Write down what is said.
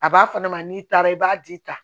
A b'a fɔ ne ma n'i taara i b'a di ta